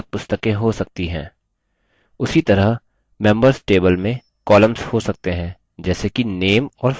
उसी तरह members table में columns हो सकते हैं जैसे कि name और phone